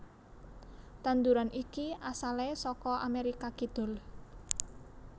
Tanduran iki asalé saka Amérika Kidul